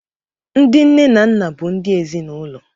Ndị nne na nna bụ ndị ezinaụlọ